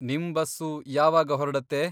ನಿಮ್ ಬಸ್ಸು ಯಾವಾಗ ಹೊರ್ಡತ್ತೆ?